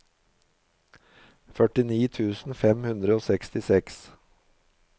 førtini tusen fem hundre og sekstiseks